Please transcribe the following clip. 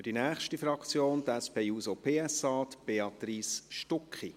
Für die nächste Fraktion, die SP-JUSO-PSA, Béatrice Stucki.